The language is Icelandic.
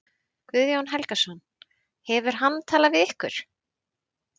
Guðjón Helgason: Hefur hann talað við ykkur?